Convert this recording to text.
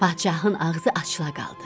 Padşahın ağzı açıla qaldı.